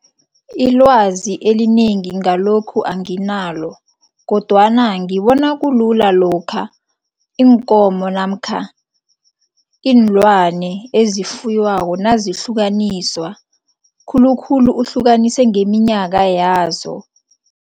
Ilwazi elinengi ngalokhu anginalo kodwana ngibona kulula lokha iinkomo namkha iinlwane eziyifuywako nazihlukaniswa, khulukhulu uhlukanise ngeminyaka yazo.